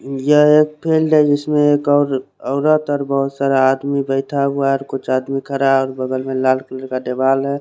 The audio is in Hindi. यह एक फिलेड जिसमे एक और औरत और बहुत सारे आदमी बैठा हुआ है और कुछ आदमी खड़ा है और बगल में लाल कलर का दीवाल है।